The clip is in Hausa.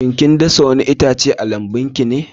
Shin kin dasa wani itace a lambun ki ne?